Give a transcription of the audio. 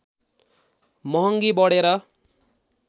महङ्गी बढेर